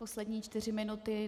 Poslední čtyři minuty.